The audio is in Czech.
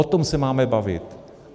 O tom se máme bavit.